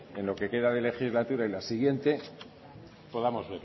en lo que queda de legislatura y la siguiente podamos